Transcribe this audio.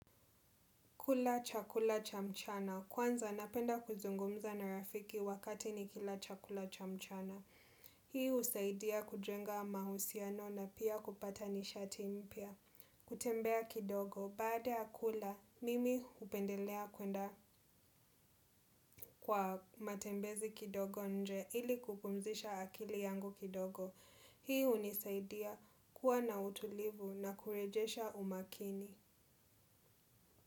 Kula chakula cha mchana. Kwanza napenda kuzungumza na rafiki wakati nikila chakula cha mchana. Hii husaidia kujenga mahusiano na pia kupata nishati mpya. Kutembea kidogo, baada ya kula, mimi hupendelea kwenda kwa matembezi kidogo nje ili kupumzisha akili yangu kidogo. Hii hunisaidia kuwa na utulivu na kurejesha umakini.